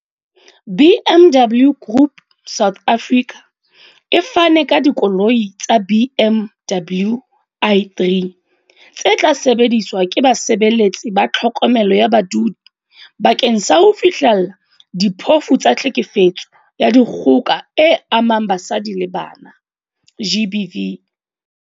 BMW Group South Africa e fane ka dikoloi tsa BMW i3 tse tla sebediswa ke basebeletsi ba tlhokomelo ya badudi bakeng sa ho fihlella diphofu tsa tlhekefetso ya dikgoka e amang basadi le bana, GBV.